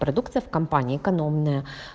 продукты в компании экономные